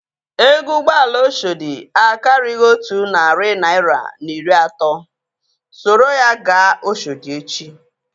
Ego ụgbọala Oshodi akarighi otu narị naira na iri atọ. Soro ya gaa Oshodi echi!